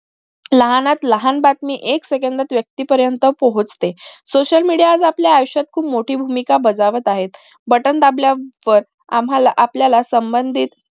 लहानात लहान बातमी एक सेकांदात व्यक्ती पर्यंत पोचते social media आज आपल्या आयुष्यात खूप मोठी भूमिका बजावत आहे button दाबल्या वर आम्हाला आपल्या संबंधीत